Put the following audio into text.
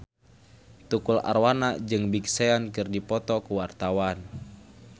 Tukul Arwana jeung Big Sean keur dipoto ku wartawan